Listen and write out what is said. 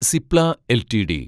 Cipla LTD